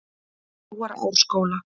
Brúarásskóla